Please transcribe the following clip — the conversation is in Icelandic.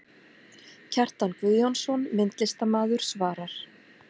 Kjartan Guðjónsson, myndlistarmaður svarar